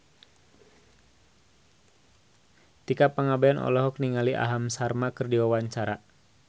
Tika Pangabean olohok ningali Aham Sharma keur diwawancara